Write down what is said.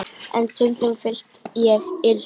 En stundum fyllist ég illsku.